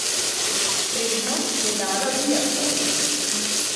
Prednost je dala biatlonu.